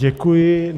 Děkuji.